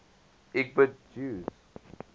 lgbt jews